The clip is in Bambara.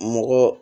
Mɔgɔ